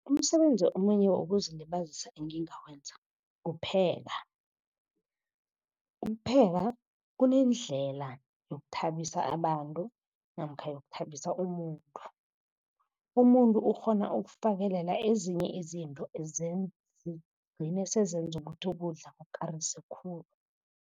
Umsebenzi omunye wokuzilibazisa engingawenza kupheka. Ukupheka kunendlela yokuthabisa abantu namkha yokuthabisa umuntu. Umuntu ukghona ukufakelela ezinye izinto gcine sezenza ukuthi ukudla kukarise khulu.